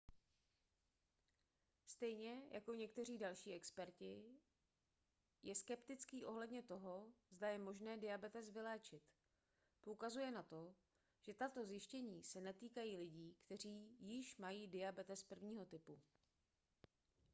stejně jako někteří další experti je skeptický ohledně toho zda je možné diabetes vyléčit poukazuje na to že tato zjištění se netýkají lidí kteří již mají diabetes 1. typu